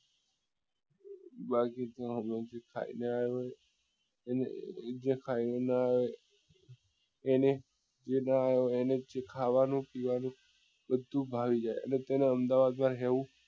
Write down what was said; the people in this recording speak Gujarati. ખાય ને આવે જે ખાય ને એને એ નાં આવે ખાવા ની પીવા નું બધું ભાવી જાય અને તેને અમદાવાદ માં રહેવું